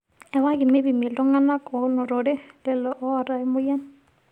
Ewaki meipimi iltungana oonotere lelo oota emoyian.